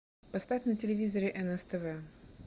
поставь на телевизоре нс тв